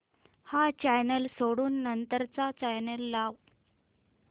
हा चॅनल सोडून नंतर चा चॅनल लाव